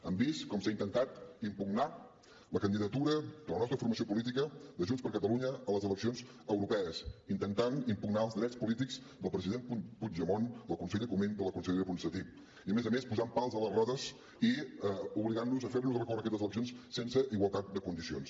hem vist com s’ha intentat impugnar la candidatura de la nostra formació política de junts per catalunya a les eleccions europees intentant impugnar els drets polítics del president puigdemont del conseller comín de la consellera ponsatí i a més a més posant pals a les rodes i obligant nos a fer nos recórrer a aquestes eleccions sense igualtat de condicions